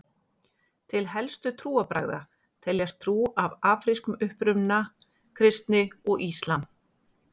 Til helstu trúarbragða teljast trú af afrískum uppruna, kristni og íslam.